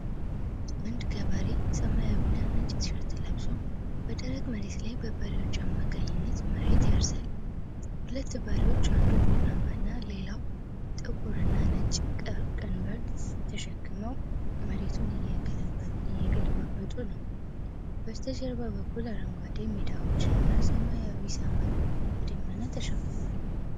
አንድ ገበሬ ሰማያዊና ነጭ ቲ-ሸርት ለብሶ በደረቅ መሬት ላይ በበሬዎች አማካይነት መሬት ያርሳል። ሁለት በሬዎች አንዱ ቡናማና ሌላው ጥቁርና ነጭ ቀንበር ተሸክመው መሬቱን እየገለባበጡ ነው። በስተጀርባ በኩል አረንጓዴ ሜዳዎችና ሰማያዊ ሰማይ በደመና ተሸፍኗል።